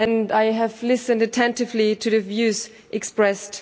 I have listened attentively to the views expressed.